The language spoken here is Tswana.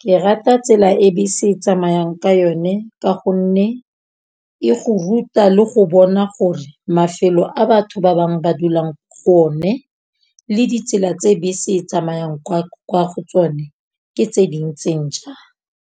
Ke rata tsela e bese e tsamayang ka yone ka gonne, e go ruta le go bona gore mafelo a batho ba bang ba dulang go one le ditsela tse bese e tsamayang kwa go tsone ke tse dintseng jang.